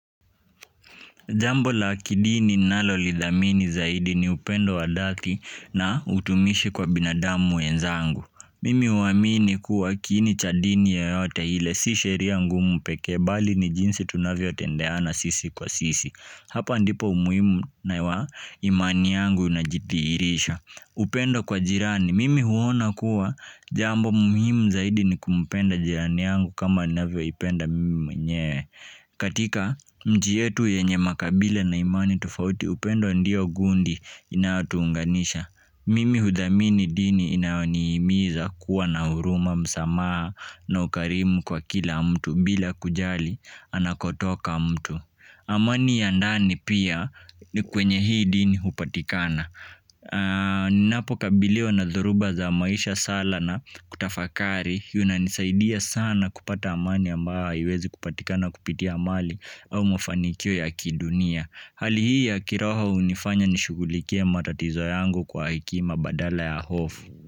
Jambo la kidini ninalolithamini zaidi ni upendo wa dhati na utumishi kwa binadamu mimi huamini kuwa kiini cha dini yeyote hile si sheria ngu mupekebali ni jinsi tunavyo tendeana sisi kwa sisi. Hapa ndipo umuhimu na imani yangu na jitiirisha. Upendo kwa jirani. Mimi huona kuwa jambo umuhimu zaidi ni kumpenda jirani yangu kama ninavyo ipenda mimi mwenyewe. Katika mji yetu yenye makabila na imani tofauti upendo ndio gundi inatuunganisha mimi huthamini dini inaonihimiza kuwa na huruma msamaha na ukarimu kwa kila mtu bila kujali anakotoka mtu amani ya ndani pia ni kwenye hii dini hupatikana ninapo kabiliwa na dhoruba za maisha sala na kutafakari. Yunanisaidia sana kupata amani ambayo haiwezi kupatikana kupitia amali au mafanikio ya kidunia hali hii ya kiroho unifanya nishughulikie matatizo yangu kwa hekima badala ya hofu.